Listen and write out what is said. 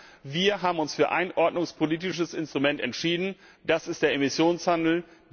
Nein, wir haben uns für ein ordnungspolitisches Instrument entschieden, das ist der Emissionshandel.